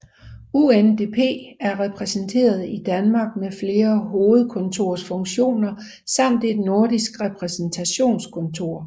UNDP er repræsenteret i Danmark med flere hovedkontorsfunktioner samt et nordisk repræsentationskontor